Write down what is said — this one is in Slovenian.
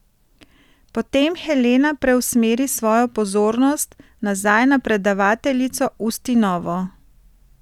Potem Helena preusmeri svojo pozornost nazaj na predavateljico Ustinovo.